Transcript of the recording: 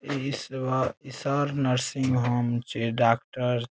इस सब इ सब नर्सिंग होम छै डॉक्टर --